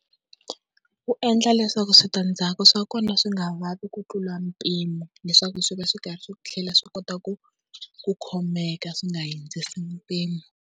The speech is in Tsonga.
Wu endla leswaku switandzhaku swa kona swi nga vavi ku tlula mpimo, leswaku swi va swi karhi swi tlhela swi kota ku ku khomeka swi nga hundzisi mpimo.